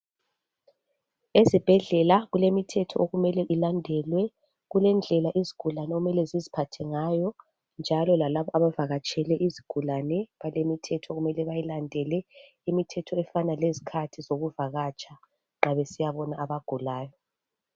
Ezibhedlela kulemithetho okufanele ilandelwe kulendlela izigulane okumele ziziphathengayo njalo lalabo abavakatshele izigulane balemithetho okumele bayilandele imithetho efana lezikhathi zokuvakatsha nxa besiyabona abagulayo